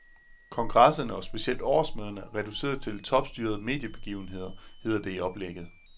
Kongresserne og specielt årsmøderne er reduceret til topstyrede mediebegivenheder, hedder det i oplægget.